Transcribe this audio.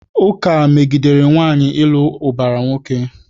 Ụka megidere nwaanyị ịlụ ụbara nwoke.